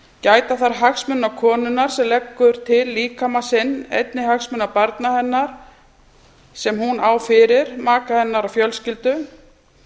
gæta þarf hagsmuna konunnar sem leggur til líkama sinn einnig hagsmuna barna hennar sem hún á fyrir maka hennar og fjölskyldu